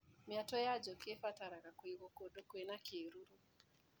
Mĩatũ ya njũkĩ ĩbataraga kũigwo kũndũ kwĩna kĩruru.